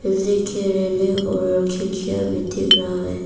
Building भी है और खिड़कियां भी दिख रहा है।